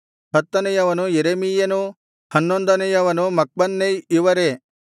ಹತ್ತನೆಯವನು ಯೆರೆಮೀಯನು ಹನ್ನೊಂದನೆಯವನು ಮಕ್ಬನ್ನೈ ಇವರೇ